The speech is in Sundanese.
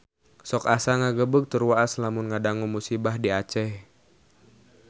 Sok asa ngagebeg tur waas lamun ngadangu musibah di Aceh